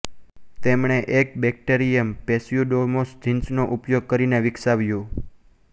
તેમણે એક bacterium Pseudomonas જીન્સનો ઉપયોગ કરીને વિકસાવ્યુ